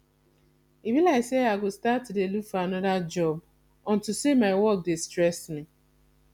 e be like say i go start to dey look for another job unto say my work dey stress me